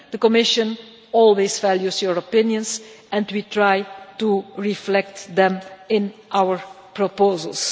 The Commission always values your opinions and we try to reflect them in our proposals.